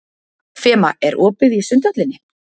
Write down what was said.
Fema, er opið í Sundhöllinni?